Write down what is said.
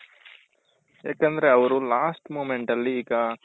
ಯಾಕಂದ್ರೆ ಅವರು last moment ಅಲ್ಲಿ ಈಗ